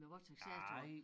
Med vores taksering tror jeg